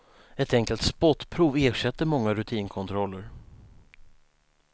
Ett enkelt spottprov ersätter många rutinkontroller.